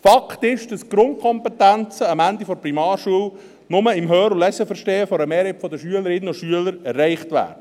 Fakt ist, dass die Grundkompetenzen am Ende der Primarschule nur im Hör- und Leseverstehen von einer Mehrheit der Schülerinnen und Schüler erreicht werden.